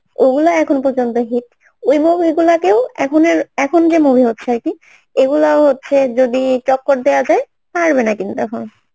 ওগুলা এখন পর্যন্ত hit ওই movie গুলাকেও এখনের এখন যে movie হচ্ছে আরকি এগুলাও হচ্ছে যদি টক্কর দেওয়া যায় পারবে না কিন্তু তখন